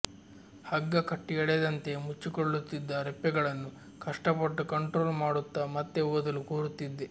ಹಗ್ಗ ಕಟ್ಟಿ ಎಳೆದಂತೆ ಮುಚ್ಚಿಕೊಳ್ಳುತ್ತಿದ್ದ ರೆಪ್ಪೆಗಳನ್ನು ಕಷ್ಟಪಟ್ಟು ಕಂಟ್ರೋಲ್ ಮಾಡುತ್ತ ಮತ್ತೆ ಓದಲು ಕೂರುತ್ತಿದ್ದೆ